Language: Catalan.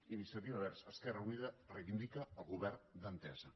iniciativa verds esquerra unida reivindica el govern d’entesa